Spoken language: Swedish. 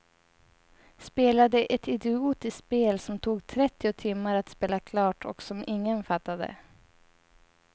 Spelade ett idiotiskt spel som tog trettio timmar att spela klart och som ingen fattade.